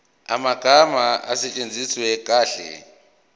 amagama asetshenziswe kahle